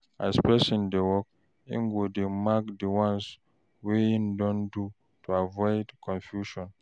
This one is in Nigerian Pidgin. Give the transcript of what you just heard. As person dey work, im go dey mark di ones wey im don do to avoid confusion